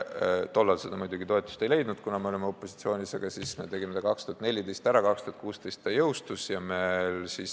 Tol ajal see muidugi toetust ei leidnud, kuna me olime opositsioonis, aga 2014 tegime selle ära ja 2016 eelnõu jõustus.